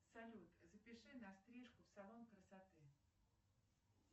салют запиши на стрижку в салон красоты